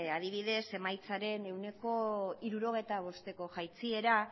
adibidez emaitzaren ehuneko hirurogeita bosteko jaitsiera